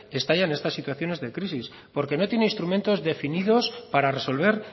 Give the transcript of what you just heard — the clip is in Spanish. que estallan estas situaciones de crisis porque no tiene instrumentos definidos para resolver